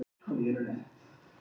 Karldýrin eru þó mun stærri.